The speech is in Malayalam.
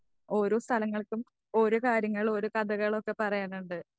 ഓരോ സ്ഥലങ്ങൾക്കും ഓരോ കാര്യങ്ങളും ഓരോ കഥകളൊക്കെ പറയാനുണ്ട്.